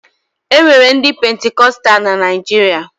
E nwere ndị Pentikọsta na Naịjirịa